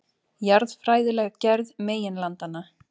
Jarðfræðileg gerð meginlandanna.